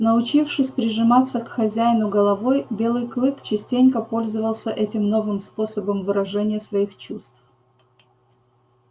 научившись прижиматься к хозяину головой белый клык частенько пользовался этим новым способом выражения своих чувств